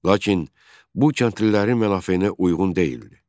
Lakin bu kəndlilərin mənafeyinə uyğun deyildi.